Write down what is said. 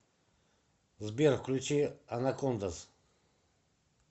сбер включи анакондаз